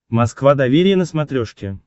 москва доверие на смотрешке